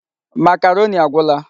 Makaroni agwụla.